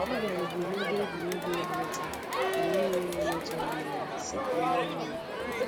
Ọ biaruru na ebe egwuregwu ịgba ụta mgbe n'enweghi onye tụrụ anya ya, si ka o lere anya